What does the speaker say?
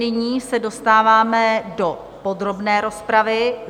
Nyní se dostáváme do podrobné rozpravy.